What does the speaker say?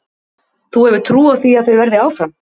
Þú hefur trú á því að þau verði áfram?